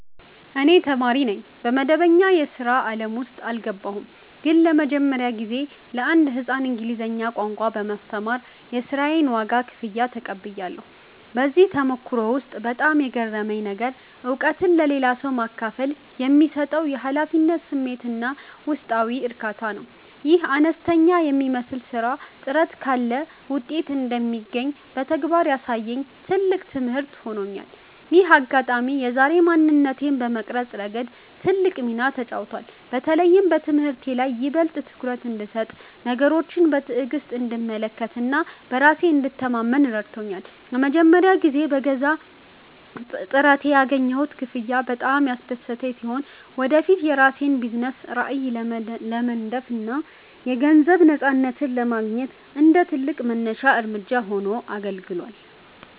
እኔ ተማሪ ነኝ፣ መደበኛ የሥራ ዓለም ውስጥ አልገባሁም። ግን ለመጀመሪያ ጊዜ ለአንድ ሕፃን እንግሊዝኛ ቋንቋ በማስተማር የሥራዬን ዋጋ (ክፍያ) ተቀብያለሁ። በዚህ ተሞክሮ ውስጥ በጣም የገረመኝ ነገር፣ እውቀትን ለሌላ ሰው ማካፈል የሚሰጠው የኃላፊነት ስሜትና ውስጣዊ እርካታ ነው። ይህ አነስተኛ የሚመስል ሥራ ጥረት ካለ ውጤት እንደሚገኝ በተግባር ያሳየኝ ትልቅ ትምህርት ሆኖኛል። ይህ አጋጣሚ የዛሬ ማንነቴን በመቅረጽ ረገድ ትልቅ ሚና ተጫውቷል። በተለይም በትምህርቴ ላይ ይበልጥ ትኩረት እንድሰጥ፣ ነገሮችን በትዕግሥት እንድመለከትና በራሴ እንድተማመን ረድቶኛል። ለመጀመሪያ ጊዜ በገዛ ጥረቴ ያገኘሁት ክፍያ በጣም ያስደሰተኝ ሲሆን፣ ወደፊት የራሴን የቢዝነስ ራዕይ ለመንደፍና የገንዘብ ነፃነትን ለማግኘት እንደ ትልቅ መነሻ እርምጃ ሆኖ አገልግሏል።